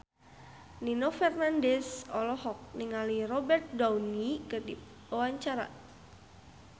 Nino Fernandez olohok ningali Robert Downey keur diwawancara